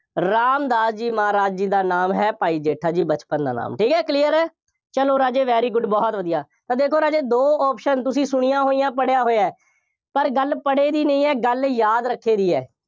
ਰਾਮਦਾਸ ਜੀ ਮਹਾਰਾਜ ਜੀ ਦਾ ਨਾਮ ਹੈ, ਭਾਈ ਜੇਠਾ ਜੀ, ਬਚਪਨ ਦਾ ਨਾਮ, ਠੀਕ ਹੈ, clear ਹੈ, ਚੱਲੋ ਰਾਜੇ, very good ਬਹੁਤ ਵਧੀਆ, ਤਾਂ ਦੇਖੋ ਰਾਜੇ ਦੋ option ਤੁਸੀਂ ਸੁਣੀਆ ਹੋਈਆਂ, ਪੜ੍ਹਿਆ ਹੋਇਆ, ਪਰ ਗੱਲ ਪੜ੍ਹੇ ਦੀ ਨਹੀਂ ਹੈ, ਗੱਲ ਯਾਦ ਰੱਖੇ ਦੀ ਹੈ।